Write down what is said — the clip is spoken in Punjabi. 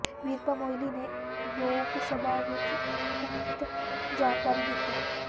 ਵੀਰੱਪਾ ਮੋਇਲੀ ਨੇ ਲੋਕ ਸਭਾ ਵਿਚ ਉਕਤ ਜਾਣਕਾਰੀ ਦਿੱਤੀ